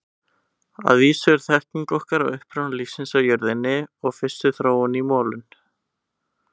Að vísu er þekking okkar á uppruna lífsins á jörðinni og fyrstu þróun í molum.